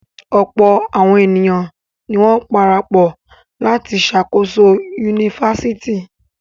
Ọ̀pọ̀ àwọn ènìyàn ni wọ́n parapọ̀ láti ṣàkóso yunifásítì.